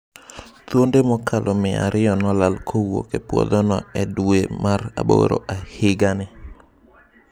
Thuonde mokalo mia ariyo nolal kowuok e puodhono e dwe mar aboro higa ni.